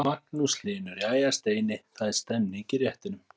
Magnús Hlynur: Jæja Steini, það er stemning í réttunum?